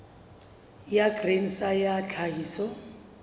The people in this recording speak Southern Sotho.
ya grain sa ya tlhahiso